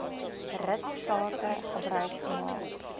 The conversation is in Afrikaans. ritstate gebruik gemaak